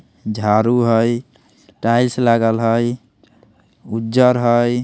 झारू हय टाएल्स लागल हय उज्जर हय।